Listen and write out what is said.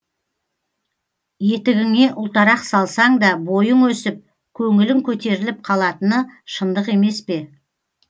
етігіңе ұлтарақ салсаң да бойың өсіп көңілің көтеріліп қалатыны шындық емес пе